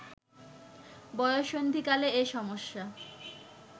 বয়ঃসন্ধিকালে এ সমস্যা